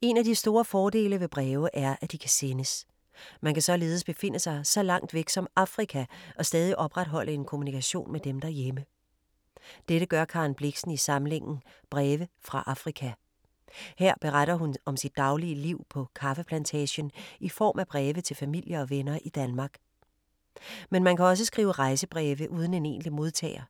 En af de store fordele ved breve er at de kan sendes. Man kan således befinde sig så langt væk som Afrika og stadig opretholde en kommunikation med dem derhjemme. Dette gør Karen Blixen i samlingen Breve fra Afrika. Her beretter hun om sit daglige liv på kaffeplantagen i form af breve til familie og venner i Danmark. Men man kan også skrive rejsebreve uden en egentlig modtager.